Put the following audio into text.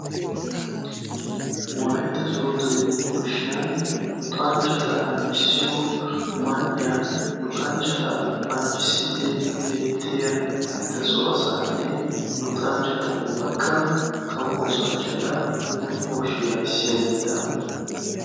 Wolaytta sooddo Yunvurshshiyaan luxanchchata anjjissiyo man''iyan luxanchchata anjjissiiddi de'yaa beettiya eta so asaane luxanchchata ubbakka kawo oosanchchata Yunvurshshiya ayssiyageta.